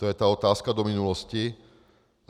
To je ta otázka do minulosti.